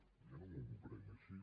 jo no m’ho prenc així